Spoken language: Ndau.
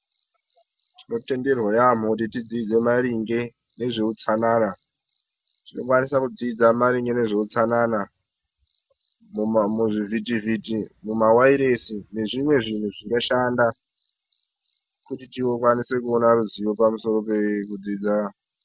Tino tenderwa yamho kuti tidzidze maringe nezve utsanana tino kwanisa kudzidza maringe ne zveu tsanana mu zvivhiti vhiti muma wairesi ne zvimwe zvinhu zvinga shanda kuti tikwanise kuona ruziva pamusoro pe kudzidza.